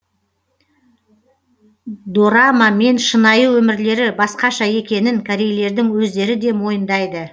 дорама мен шынайы өмірлері басқаша екенін корейлердің өздері де мойындайды